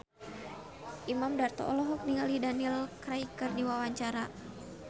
Imam Darto olohok ningali Daniel Craig keur diwawancara